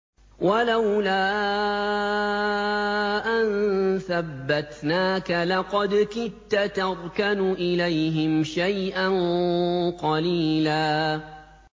وَلَوْلَا أَن ثَبَّتْنَاكَ لَقَدْ كِدتَّ تَرْكَنُ إِلَيْهِمْ شَيْئًا قَلِيلًا